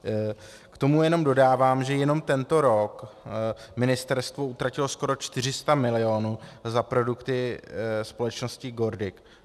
K tomu jenom dodávám, že jenom tento rok ministerstvo utratilo skoro 400 milionů za produkty společnosti GORDIC.